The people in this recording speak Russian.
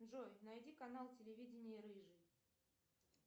джой найди канал телевидение рыжий